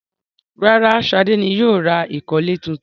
Rárá, Ṣadé ni yóò ra ìkọ́lẹ̀ tuntun.